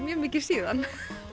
mikið síðan